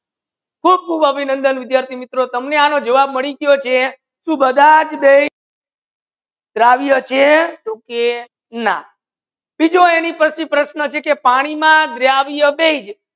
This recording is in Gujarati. ખૂબ ખૂબ અભિનંદન વિદ્યાર્થી મિત્રો તમને આનો જવાબ માડી ગયો છે સુ બધાજ બેસ દ્રવ્ય છે તો કે ના ત્રીજું એની પસે પ્રશ્ના છે કે પાની માં દ્રવ્ય બેસ